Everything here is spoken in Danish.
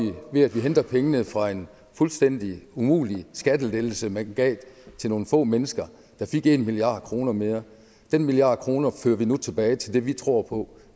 ved at vi henter pengene fra en fuldstændig umulig skattelettelse man gav til nogle få mennesker der fik en milliard kroner mere den milliard kroner fører vi nu tilbage til det vi tror på